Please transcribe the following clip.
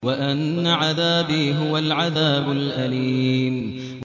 وَأَنَّ عَذَابِي هُوَ الْعَذَابُ الْأَلِيمُ